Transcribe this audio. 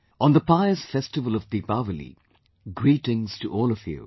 On the pious festival of Deepawali, greetings to all of you